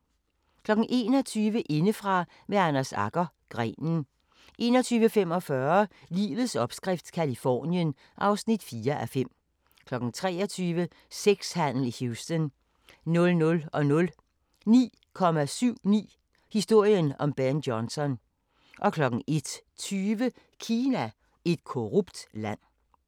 21:00: Indefra med Anders Agger – Grenen 21:45: Livets opskrift – Californien (4:5) 23:00: Sexhandel i Houston 00:00: 9,79 – historien om Ben Johnson 01:20: Kina – et korrupt land